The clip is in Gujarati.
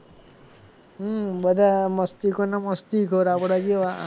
હમ બધા મસ્તી ખોર ને મસ્તી ખોર આપડા જેવા